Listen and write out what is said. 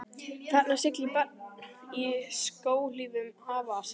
Þarna siglir barn í skóhlífum afa síns.